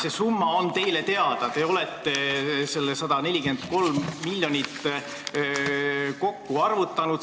See summa on teile teada, te olete selle 143 miljonit kokku arvutanud.